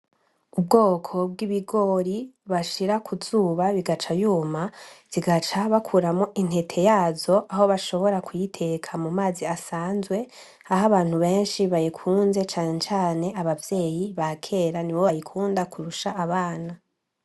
Ubwoko bw’ibigori bashira ku zuba, igaca yuma zigaca bakuramwo intete yazo ,aho bashobora kuyiteka mu mazi asanzwe aho abantu benshi bayikunze ,cane cane abavyeyi ba kera nibo bayikunda kurusha abana .